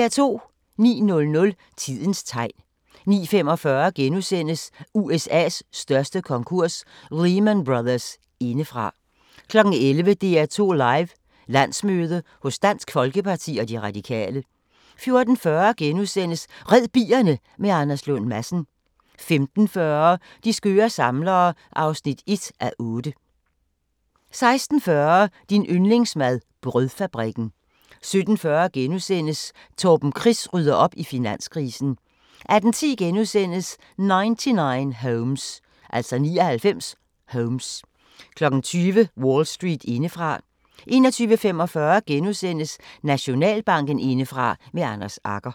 09:00: Tidens tegn 09:45: USA's største konkurs – Lehman Brothers indefra * 11:00: DR2 Live: Landsmøde hos Dansk Folkeparti og De Radikale 14:40: Red bierne med Anders Lund Madsen * 15:40: De skøre samlere (1:8) 16:40: Din yndlingsmad: Brødfabrikken 17:40: Torben Chris rydder op i finanskrisen * 18:10: 99 Homes * 20:00: Wall Street indefra 21:45: Nationalbanken indefra – med Anders Agger *